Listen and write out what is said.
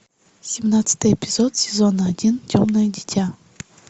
семнадцатый эпизод сезона один темное дитя